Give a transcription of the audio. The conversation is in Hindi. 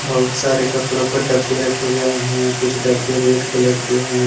बहुत सारे कपड़ों को डब्बे रखे गए हैं। कुछ डब्बे रेड कलर के हैं।